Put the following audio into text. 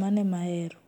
mano ema ahero.